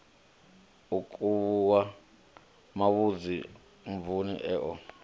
u khuvhuwa mavhadzi mvun eo